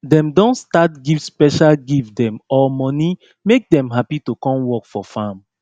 dem don start give special gift dem or money make dem happy to come work for farm